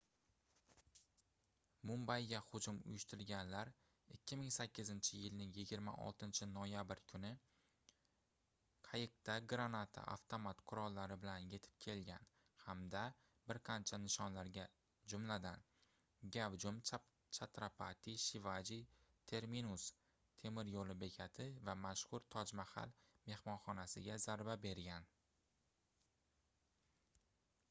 mumbayga hujum uyushtirganlar 2008-yilning 26-noyabr kuni qayiqda granata avtomat qurollari bilan yetib kelgan hamda bir qancha nishonlarga jumladan gavjum chatrapati shivaji terminus temir yoʻl bekati va mashhur toj mahal mehmonxonasiga zarba bergan